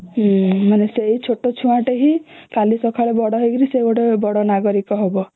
ମାନେ ସେଇ ଛୋଟ ଛୁଆ ଟେ ହିଁ କାଲି ସକାଳେ ବଡ ହେଇକି ସେ ଗୋଟେ ବଡ ନାଗରିକ ହବ